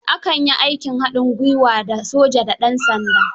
A kan yi aikin hadin gwiwa, da soja da dansanda.